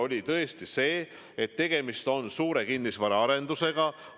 Oluline on see, et tegemist on suure kinnisvaraarendusega.